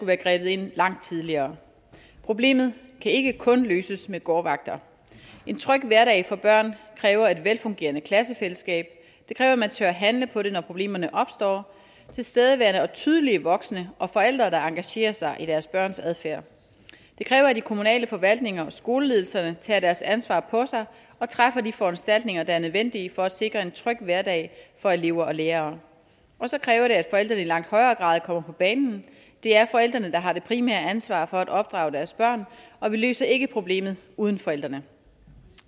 være grebet ind langt tidligere problemet kan ikke kun løses med gårdvagter en tryg hverdag for børn kræver et velfungerende klassefællesskab det kræver at man tør handle på det når problemerne opstår og tilstedeværende og tydelige voksne og forældre der engagerer sig i deres børns adfærd det kræver at de kommunale forvaltninger og skoleledelserne tager deres ansvar på sig og træffer de foranstaltninger der er nødvendige for at sikre en tryg hverdag for elever og lærere og så kræver det at forældrene i langt højere grad kommer på banen det er forældrene der har det primære ansvar for at opdrage deres børn og vi løser ikke problemet uden forældrene